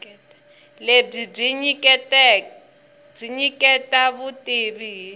lebyi byi nyiketa vutivi hi